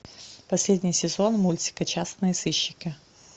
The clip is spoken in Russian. последний сезон мультика частные сыщики